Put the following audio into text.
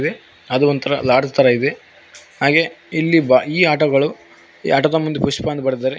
ವೆ ಅದು ಒಂತರ ಲಾಡ್ಜ್ ತರ ಇದೆ ಹಾಗೆ ಇಲ್ಲಿ ಬಾ ಇ ಆಟೋ ಗಳು ಆಟೋದ ಮುಂದ್ ಪುಷ್ಪ ಅಂತ ಬರ್ದಿದಾರೆ.